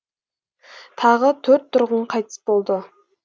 тағы төрт тұрғын қайтыс болды